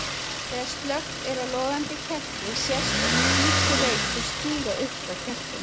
Þegar slökkt er á logandi kerti sést oft hvítur reykur stíga upp frá kertinu.